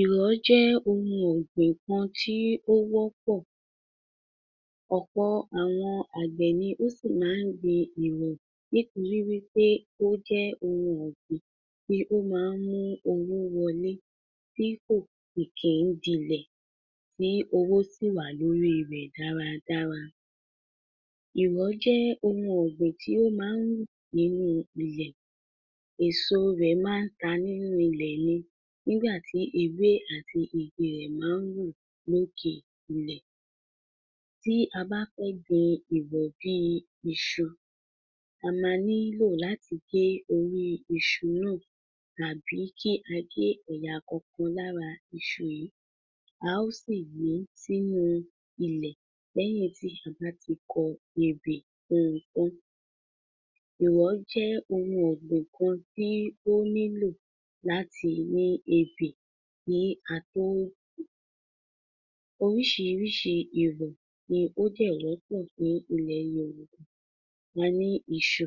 Ìrọ̀ jẹ́ oun ọ̀gbìn kan tí ó wọ́pọ̀, ọ̀pọ̀ àwọn àgbẹ̀ ni ó sì má n gbin ìrọ̀ nítorí wípé ó jẹ́ oun ọ̀gbìn tí ó máa ń mu owó wọlé, tí kò kìi ń dilẹ̀ tí owó sì wà lórí rẹ̀ dáradára. Ìrọ̀ jẹ́ oun ọ̀gbìn tí ó máa ń hù nínú ilẹ̀. Èso rẹ̀ máa ta nínú ilẹ̀ ni nígbàtí ewé àti igi rẹ̀ máa ń hù lókè ilẹ̀. Tí a bá fẹ́ gbin ìrọ̀ bíi iṣu, amá ní lò láti gé orí iṣu náà tàbí kí á gé ẹ̀yà kọ̀ọ̀kan lára iṣu yìí, a ó sì gbín sínú ilẹ̀ lẹ́yìn tí a bá ti kọ ebè fuǹ un taǹ. Ìrọ̀ jẹ́ oun ọ̀gbìn kan tí ó nílò láti ní ebè kí á tó gbiǹ. Orísìíríṣìí ìrọ̀ ni ó dẹ̀ wọ́pọ̀ ní ilẹ̀ Yorùbá. A ní iṣu.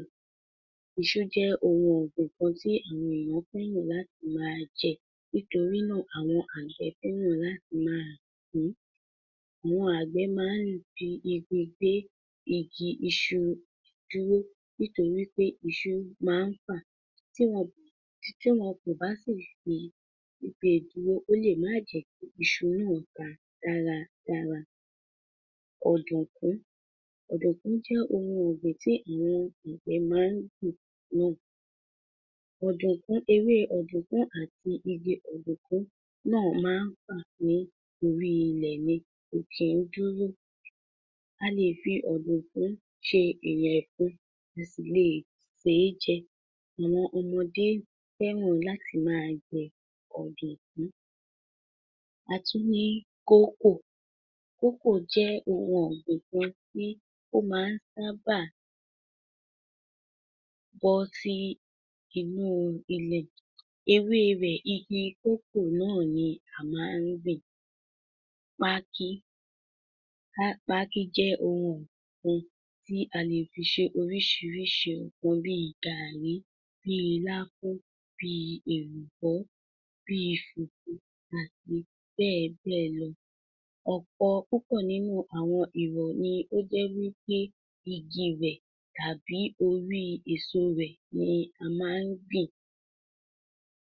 Iṣu jẹ́ oun ọ̀gbìn kan tí àwọn èèyàn kúndùn láti máa jẹ. Nítorínà àwọn àgbẹ̀ fẹ́ràn láti máa gbín, àwọn àgbẹ̀ máa ń fi igi gbé igi iṣu dúró nítorí pé iṣu máa ń fà. Tí wọn, tí wọn kò bá sì fi gbée dúró ó lè má jẹ̀ẹ́ kí iṣu náà ta dára dára. Ọ̀dọ̀gún. Ọ̀dọ̀gún jẹ́ oun ọ̀gbìn tí àwọn àgbẹ̀ máa n gbìn. Ọ̀dọ̀gún, ewé ọ̀dọ̀gún àti igi ọ̀dọ̀gún náà máa nfà ní orí ilẹ̀ ni, kò nḱi duro. A lè fi ọ̀dọ̀gún ṣe ìyẹ̀fun, a sì lè sè é jẹ. Àwọn ọmọdé fẹ́ràn láti máa jẹ ọ̀dọ̀gún. A tun ni kókò. Kókò jẹ́ oun ọ̀gbìn kan tí ó máa sábàá bọ́ sí inú ilẹ̀. Ewé rẹ̀ igi kókò náà ni àmá n gbìn. Pákí. Pákí jẹ́ oun ọ̀gbìn kan tí a lè fi ṣe orísìíríṣìí ǹkan bíi gaàrí, bíi láfún, bíi èlùbọ́, bíi fùfú àti bẹ́ẹ̀b́ẹ̀ lọ. Ọ̀pọ̀ púpọ̀ nínú àwọn ìrọ̀ ni ó jẹ́ wípé igi rẹ̀ tàbí orí èso rẹ̀ ni a má n gbìn.